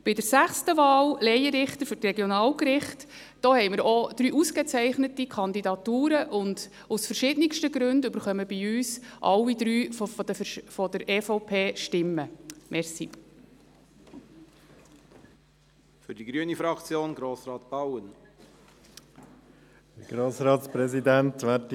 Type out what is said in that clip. Bei der sechsten Wahl, Laienrichter für die Regionalgerichte, haben wir auch drei ausgezeichnete Kandidaturen und aus verschiedensten Gründen erhalten alle drei Stimmen von der EVP.